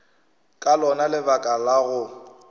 ka lona lebaka la go